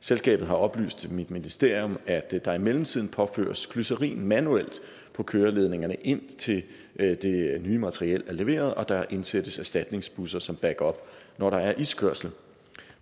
selskabet har oplyst til mit ministerium at der i mellemtiden påføres glycerin manuelt på køreledningerne indtil det nye materiel er leveret og der indsættes erstatningsbusser som backup når der er iskørsel